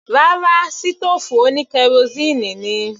Rárá, sítòòfù oní kerosíínì ni.